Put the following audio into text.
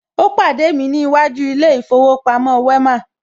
Ó pàdé mi ní iwájú ilé ìfowópamọ́ Wema